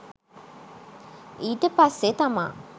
ඊට පස්සේ තමා